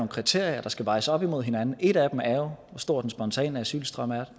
kriterier der skal vejes op imod hinanden et af dem er jo hvor stor den spontane asylstrøm er